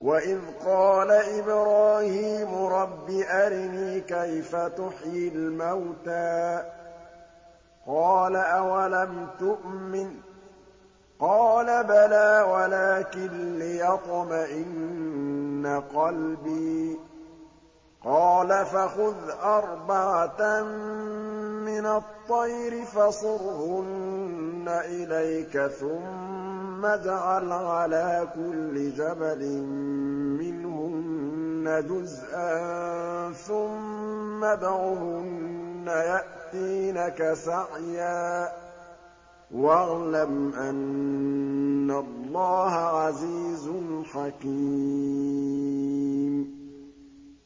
وَإِذْ قَالَ إِبْرَاهِيمُ رَبِّ أَرِنِي كَيْفَ تُحْيِي الْمَوْتَىٰ ۖ قَالَ أَوَلَمْ تُؤْمِن ۖ قَالَ بَلَىٰ وَلَٰكِن لِّيَطْمَئِنَّ قَلْبِي ۖ قَالَ فَخُذْ أَرْبَعَةً مِّنَ الطَّيْرِ فَصُرْهُنَّ إِلَيْكَ ثُمَّ اجْعَلْ عَلَىٰ كُلِّ جَبَلٍ مِّنْهُنَّ جُزْءًا ثُمَّ ادْعُهُنَّ يَأْتِينَكَ سَعْيًا ۚ وَاعْلَمْ أَنَّ اللَّهَ عَزِيزٌ حَكِيمٌ